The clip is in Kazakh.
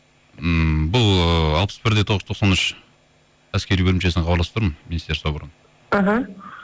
ммм бұл ыыы алпыс бір де тоғыз жүз тоқсан үш әскери бөлімшесінен хабарласып тұрмын министерство оборона іхі